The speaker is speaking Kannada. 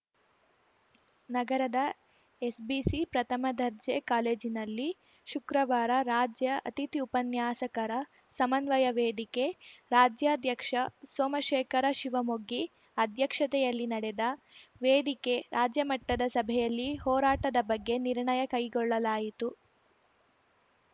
ನಗರದ ಎಸ್‌ಬಿಸಿ ಪ್ರಥಮ ದರ್ಜೆ ಕಾಲೇಜಿನಲ್ಲಿ ಶುಕ್ರವಾರ ರಾಜ್ಯ ಅತಿಥಿ ಉಪನ್ಯಾಸಕರ ಸಮನ್ವಯ ವೇದಿಕೆ ರಾಜ್ಯಾಧ್ಯಕ್ಷ ಸೋಮಶೇಖರ ಶಿವಮೊಗ್ಗಿ ಅಧ್ಯಕ್ಷತೆಯಲ್ಲಿ ನಡೆದ ವೇದಿಕೆ ರಾಜ್ಯ ಮಟ್ಟದ ಸಭೆಯಲ್ಲಿ ಹೋರಾಟದ ಬಗ್ಗೆ ನಿರ್ಣಯ ಕೈಗೊಳ್ಳಲಾಯಿತು